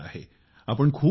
खूप उशीर झाला आहे